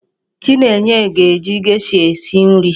Chinenye ga-eji gesha esi nri.